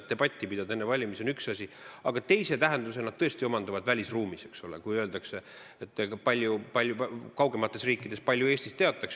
Enne valimisi debatti pidada on üks asi, aga teise tähenduse omandavad need asjad tõesti välisruumis – kui palju kaugemates riikides Eestist teatakse?